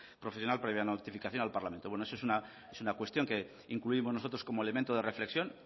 profesional previa notificación al parlamento eso es una cuestión que incluimos nosotros como elemento de reflexión